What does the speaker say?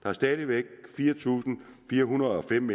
er stadig væk fire tusind fire hundrede og fem